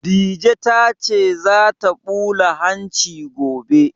Dije ta ce za ta ɓula hanci gobe